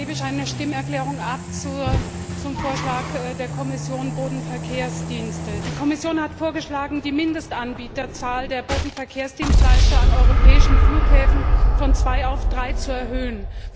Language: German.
Ich gebe eine Stimmerklärung für die SPD Gruppe zum Vorschlag der Kommission über Bodenverkehrsdienste ab. Die Kommission hat vorgeschlagen, die Mindestanbieterzahl der Bodenverkehrsdienstleister an europäischen Flughäfen von zwei auf drei zu erhöhen.